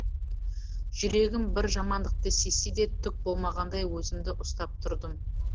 жүрегім бір жамандықты сезсе де түк болмағандай өзімді ұстап тұрдым